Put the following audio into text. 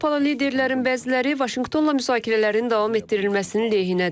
Avropalı liderlərin bəziləri Vaşinqtonla müzakirələrin davam etdirilməsinin lehinədir.